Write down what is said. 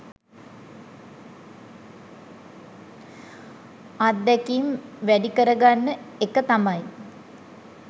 අත්දැකීම් වැඩි කරගන්න එක තමයි